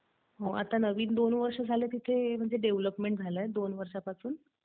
आता नवीन दोन वर्ष झाले तिथे डेव्हलपमेंट झालंय, दोन वर्षापासून.